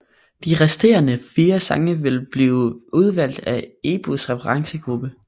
De resterende fire sange ville blive udvalgt af EBUs referencegruppe